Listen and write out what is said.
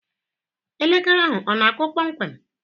Elekere ahụ ọ na-akụ kpọmkwem?